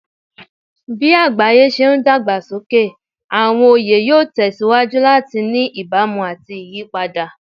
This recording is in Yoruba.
Bí àgbáyé ṣe ń dàgbà sókè, àwọn oyè yóò tẹ̀ síwájú láti ní ìbámu àti ìyípadà.